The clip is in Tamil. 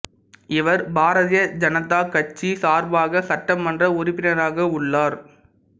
இவர் பாரதிய ஜனதா கட்சி சார்பாக சட்டமன்ற உறுப்பினராக உள்ளார்